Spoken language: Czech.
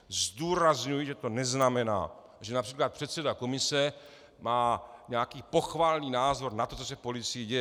Zdůrazňuji, že to neznamená, že například předseda komise má nějaký pochvalný názor na to, co se v policii děje.